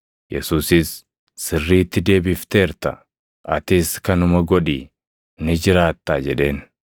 Yesuusis, “Sirriitti deebifteerta; atis kanuma godhi ni jiraattaa” jedheen.